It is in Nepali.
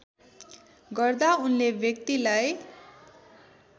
गर्दा उनले व्यक्तिलाई